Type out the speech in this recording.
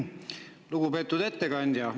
Lugupeetud ettekandja!